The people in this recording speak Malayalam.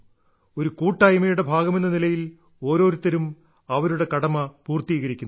ഒരു കൂട്ടായ്മയുടെ ഭാഗമെന്ന നിലയിൽ ഓരോരുത്തരും അവരുടെ കടമ പൂർത്തീകരിക്കുന്നു